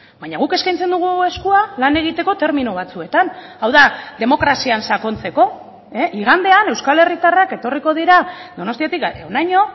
baina guk eskaintzen dugu eskua lan egiteko termino batzuetan hau da demokrazian sakontzeko igandean euskal herritarrak etorriko dira donostiatik honaino